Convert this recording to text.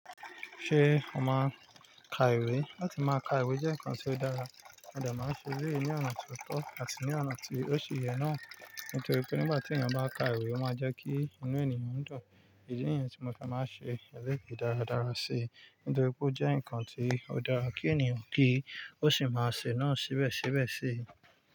Ṣé o máa n ka ìwé? Láti máa ka ìwé jẹ́ ǹkan tó dára, mo de màá n ṣe eleyí ní ọ̀nà tó tọ́ àti ní ọ̀nà tí ó ṣe yẹ náà. Nítorí pé nígbà tí ènìyàn bá ka ìwé, ó máa jẹ́ kí inú ènìyàn dùn. Èyí ni idi tí mo fi máa ṣe eléyi dáradára ṣe nítorí pé ó jẹ́ ǹkan tó dára kí ènìyàn kí ó sì máa ṣe náà síbẹ̀síbẹ̀ ṣe.